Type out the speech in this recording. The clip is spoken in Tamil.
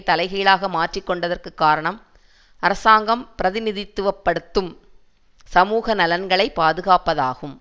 தலைகீழாக மாற்றிக்கொண்டதற்கு காரணம் அராங்கம் பிரதிநிதித்துவ படுத்தும் சமூக நலன்களை பாதுகாப்பதாகும்